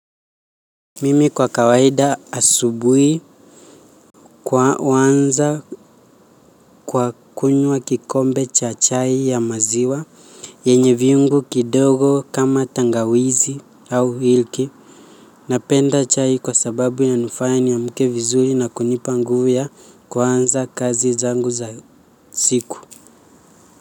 Mimi kwa kawaida asubui kwa wanza kwa kunywa kikombe cha chai ya maziwa yenye viungu kidogo kama tangawizi au hilki. Napenda chai kwa sababu ya nifanya niamke vizuri na kunipa nguvu ya kuanza kazi zangu za siku.